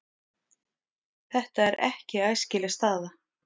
Þetta er ekki æskileg staða.